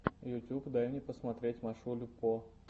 ютюб дай мне посмотреть машулю по